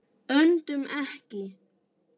Öndum ekki.